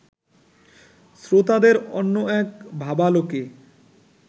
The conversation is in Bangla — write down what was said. শ্রোতাদের অন্য এক ভাবালোকে